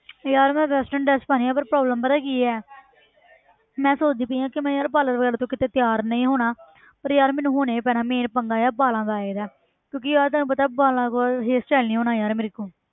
ਯਾਰ ਮੈਂ western dress ਪਾਉਣੀ ਹੈ ਪਰ problem ਪਤਾ ਕੀ ਹੈ ਮੈਂ ਸੋਚਦੀ ਪਈ ਹਾਂ ਕਿ ਮੈਂ ਯਾਰ parlour ਵਗ਼ੈਰਾ ਤੋਂ ਕਿਤੇ ਤਿਆਰ ਨਹੀਂ ਹੋਣਾ ਪਰ ਯਾਰ ਮੈਨੂੰ ਹੋਣਾ ਹੀ ਪੈਣਾ main ਪੰਗਾ ਯਾਰ ਵਾਲਾਂ ਦਾ ਆ ਜਾਂਦਾ ਹੈ ਕਿਉਂਕਿ ਯਾਰ ਤੈਨੂੰ ਪਤਾ ਵਾਲਾਂ ਕੋਲ hair style ਨੀ ਹੋਣਾ ਯਾਰ ਮੇਰੇ ਕੋਲੋਂ।